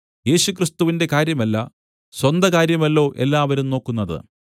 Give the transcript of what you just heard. യേശുക്രിസ്തുവിന്റെ കാര്യമല്ല സ്വന്ത കാര്യമല്ലോ എല്ലാവരും നോക്കുന്നത്